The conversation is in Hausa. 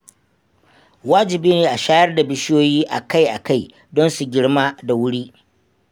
Wajibi ne a shayar da bishiyoyi akai-akai don su girma da wuri.